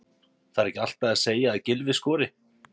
Þarf ekki alltaf að segja að Gylfi skori?